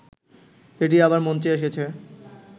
এটি আবার মঞ্চে এসেছে